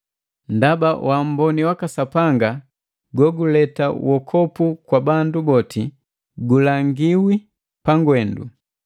Ndaba waamboni waka Sapanga goguleta wokopu kwa bandu boti gulangiwi pangwendu.